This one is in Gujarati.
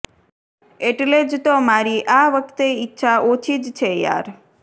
એટલે જ તો મારી આ વખતે ઇચ્છા ઓછી જ છે યાર